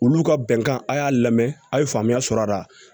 Olu ka bɛnkan a y'a lamɛn a' ye faamuya sɔrɔ a la